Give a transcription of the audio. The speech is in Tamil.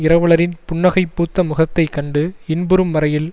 இரவலரின் புன்னகை பூத்த முகத்தை கண்டு இன்புறும் வரையில்